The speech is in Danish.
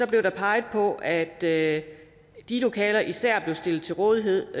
blev der peget på at de lokaler især blev stillet til rådighed